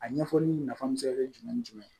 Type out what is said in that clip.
A ɲɛfɔli nafa bi se ka kɛ jumɛn ni jumɛn ye